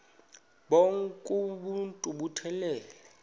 bonk uuntu buphelele